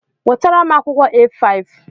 Wetara m akwụkwọ A5!